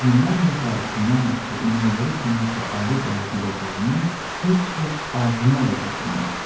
Özündən və qarasından başqa inəklərə kiminsə əli dəyə biləcəyini heç heç ağlına da gətirməzdi.